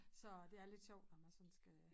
Så det er lidt sjovt når man sådan skal